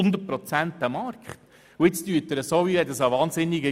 Wir werden artikelweise beraten und nicht das Gesetz als Ganzes.